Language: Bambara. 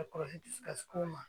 A kɔlɔsi dusu kasi kow ma